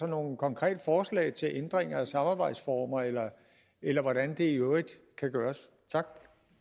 nogen konkrete forslag til ændringer af samarbejdsformer eller eller hvordan det i øvrigt kan gøres tak